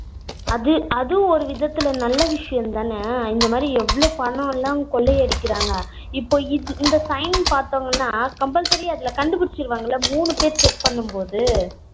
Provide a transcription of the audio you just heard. அது அதுவும் ஒரு விதத்துல நல்ல விஷயம் தானே. இந்த மாதிரி எவ்வளவு பணம் எல்லாம் கொள்ளை அடிக்கிறாங்க. இப்போ இந்த sign பார்த்தோம்னா compulsory அதுல கண்டுபிடிச்சிடுவாங்க இல்ல மூணு பேரு check பண்ணும் போது